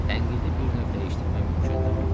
Tənqidi bir növ dəyişdirmək mümkündür.